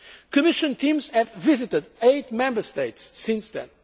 in Europe. Commission teams have visited eight Member States since